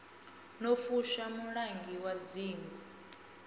no fushwa mulangi wa dzingu